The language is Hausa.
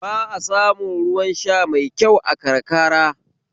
Ba a samun ruwan sha mai kyau a karka